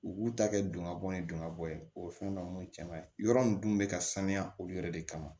U k'u ta kɛ don ka bɔ ni don ŋa bɔ ye o ye fɛn dɔ cɛman ye yɔrɔ ninnu dun bɛ ka sanuya olu yɛrɛ de kama